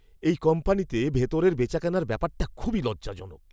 এই কোম্পানিতে ভেতরের বেচাকেনার ব্যাপারটা খুবই লজ্জাজনক।